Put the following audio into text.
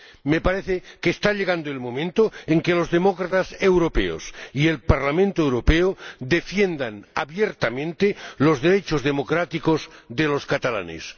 Me parece que está llegando el momento de que los demócratas europeos y el Parlamento Europeo defiendan abiertamente los derechos democráticos de los catalanes.